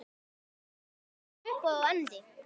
Þau eiga sér upphaf og endi.